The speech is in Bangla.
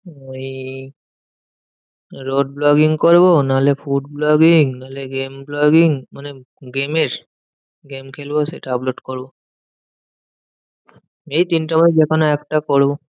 ওই road vlogging করবো, নাহলে food vlogging, নাহলে game vlogging মানে game এর game খেলবো সেটা upload করবো। এই তিনটের মধ্যে যেকোনো একটা করবো।